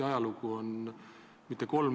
Praegu oleks ennatlik rääkida mingist mõjust.